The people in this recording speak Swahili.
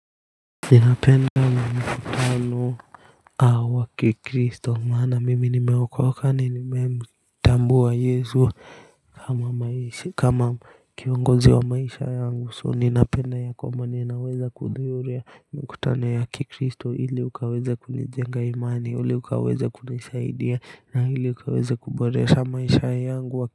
Ninapenda mikutano wa kikristo maana mimi nimeokoka nimemtambua yesu kama kiongozi wa maisha yangu so ninapenda ya kwamba ninaweza kuhudhuria mikutano ya kikristo ili ukaweza kunijenga imani ili ukaweza kunisaidia na hili ukaweza kuboresha maisha yangu wa kikristo.